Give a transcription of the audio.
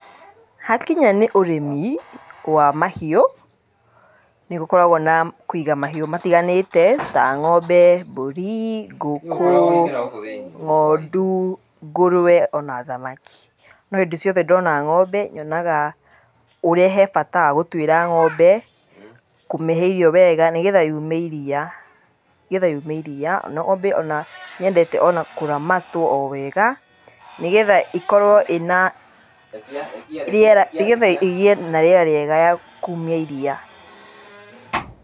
Hakinya nĩ ũrĩmi wa mahiũ nĩ gũkoragwo na kũiga mahiũ matiganĩte ta ng'ombe mbũri ngũkũ, ng'ondu ngũrwe ona thamaki. No hĩndĩ ciothe ndona ng'ombe nyonaga ũrĩa he bata wa gũtuĩra ng'ombe, kũmĩhe irio wega nĩ getha yume iria, nĩ getha yume iria wega. Ng'ombe ona nĩ yendete kũramatwo o wega nĩ getha ĩkorwo ĩna, nĩ getha igĩe na rĩera rĩeaga rĩa kumia iria.